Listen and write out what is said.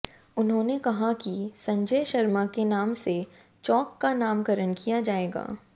उन्होंने कहा कि संजय शर्मा के नाम से चौक का नामकरण किया जाएगा